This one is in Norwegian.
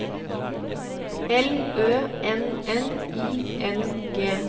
L Ø N N I N G